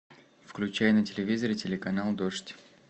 включай на телевизоре телеканал дождь